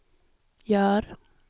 gör